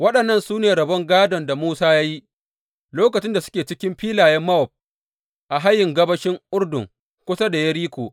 Waɗannan su ne rabon gādon da Musa ya yi lokacin da suke cikin filayen Mowab a hayin gabashin Urdun kusa da Yeriko.